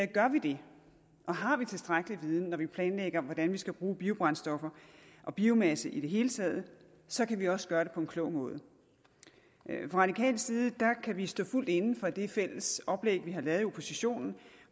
gør vi det og har vi tilstrækkelig viden når vi planlægger hvordan vi skal bruge biobrændstoffer og biomasse i det hele taget så kan vi også gøre det på en klog måde fra radikal side kan vi stå fuldt inde for det fælles oplæg vi har lavet i oppositionen